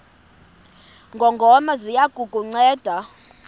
ngongoma ziya kukunceda